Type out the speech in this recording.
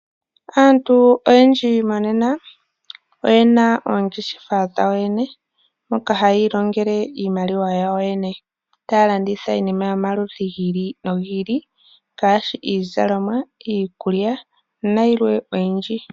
Aantu oyendji monena oyena oongeshefa dhawo yo yene moka haya iilongele iimaliwa yawo yo yene, taya landitha iinima yomaludhi gi ili nogi ili, ngaashi iizalomwa, iikulya nayilwe oyindji.